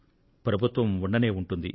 ప్రభుత్వం ఉండనే ఉంటుంది